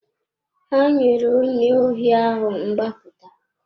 Ha nyere onye ohi ahụ mgbapụta.